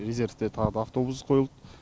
резервте тағы да автобус қойылды